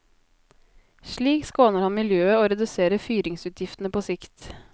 Slik skåner han miljøet og reduserer fyringsutgiftene på sikt.